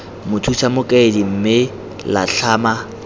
mothusa mokaedi mme la tlhama